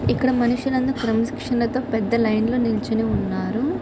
ఇక్కడ మనుషులందరూ క్రమశిక్షణగా పెద్ద లైన్ లో నిలుచొని ఉన్నారు.